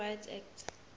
civil rights act